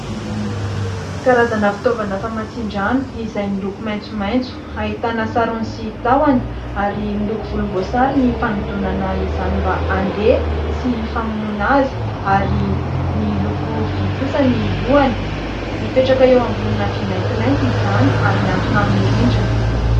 Karazana fitaovana famantsian-drano izay miloko maitsomaitso, ahitana sarony sy tahony ary miloko volom-boasary ny fanodinana izany mba andeha sy famonoana azy, ary miloko vy kosa ny lohany mipetraka eo ambonina vy mantimainty izany ary mihantona amin' ny rindrina.